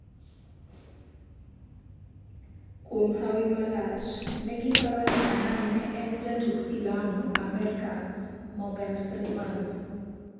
Kwuom hawi marach ,negiparoni Annan ne en jatug filamu Amerka Morgan Freeman.